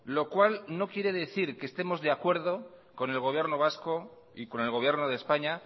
lo cual no quiere decir que estemos de acuerdo con el gobierno vasco y con el gobierno de españa